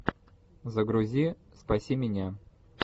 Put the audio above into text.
загрузи спаси меня